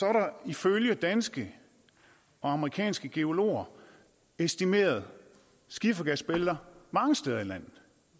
er der ifølge danske og amerikanske geologer estimeret skifergasbælter mange steder i landet